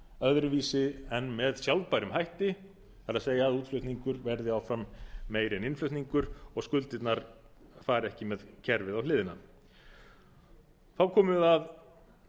öðruvísi en með sjálfbærum hætti það er útflutningur verði áfram meiri en innflutningur og skuldirnar fari ekki með kerfið á hliðina þá komum við að